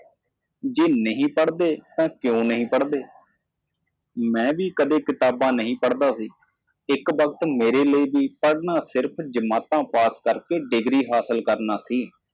ਜੇ ਤੁਸੀਂ ਨਹੀਂ ਪੜ੍ਹਦੇ ਤਾਂ ਕਿਉਂ ਨਹੀਂ ਪੜ੍ਹਦੇ ਮੈਂ ਕਦੇ ਕਿਤਾਬ ਨਹੀਂ ਪੜ੍ਹੀ ਬਸ ਇੱਕ ਵਾਰ ਮੇਰੇ ਲਈ ਪੜ੍ਹਨਾ ਜਮਾਤ ਪਾਸ ਕਰਕੇ ਡਿਗਰੀ ਹਾਸਲ ਕਰਨੀ ਸੀ